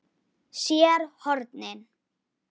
SÉR HORNIN.